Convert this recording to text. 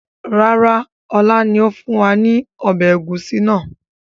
Rárá, ọlá ni ó fún wa ní ọbẹ̀ ẹ̀gúsí náà